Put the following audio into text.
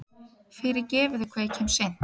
Fyrirgefiði hvað ég kem seint.